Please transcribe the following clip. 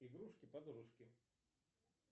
игрушки подружки